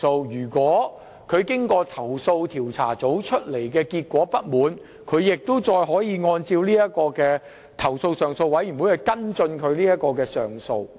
如投訴人對投訴調查組的調查結果感到不滿，可循投訴上訴委員會作出跟進及上訴。